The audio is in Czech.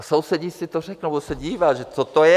A sousedi si to řeknou, budou se dívat, že co to je?